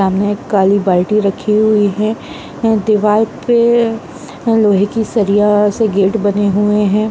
सामने एक काली बाल्टी रखी हुई है । एं दीवाल पे एं लोहे की सरिया से गेट बने हुए हैं ।